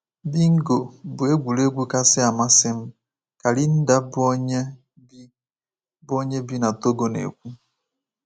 Bingo bụ egwuregwu kasị amasị m,” ka Linda, bụ́ onye bi bụ́ onye bi na Togo, na-ekwu.